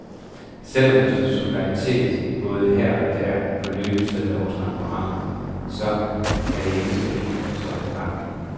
Selv om der stod solidaritet både her og der på løbesedler og transparenter, så var det ikke så enkelt at tolke retningen.